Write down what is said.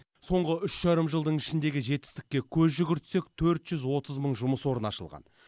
соңғы үш жарым жылдың ішіндегі жетістікке көз жүгірсек төрт жүз отыз мың жұмыс орны ашылған